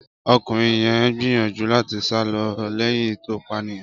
Ọkùnrin yẹn ń gbìyànjú láti sá lọ lẹ́yìn tó pànìyàn.